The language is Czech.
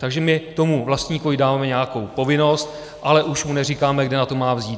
Takže my tomu vlastníkovi dáváme nějakou povinnost, ale už mu neříkáme, kde na to má vzít.